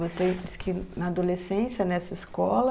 Você disse que na adolescência, nessa escola...